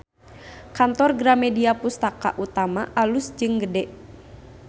Kantor Gramedia Pustaka Utama alus jeung gede